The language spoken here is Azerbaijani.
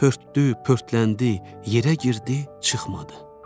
Pörtdü, pörtləndi, yerə girdi, çıxmadı.